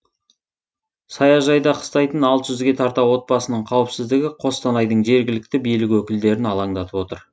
саяжайда қыстайтын алты жүзге тарта отбасының қауіпсіздігі қостанайдың жергілікті билік өкілдерін алаңдатып отыр